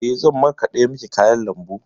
Eh, zan markaɗa miki kayan lambu.